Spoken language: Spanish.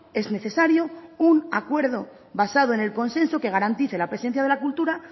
es necesario un acuerdo basado en el consenso que garantice la presencia de la cultura